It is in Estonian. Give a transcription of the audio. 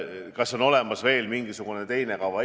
Kas on olemas veel mingisugune teine kava?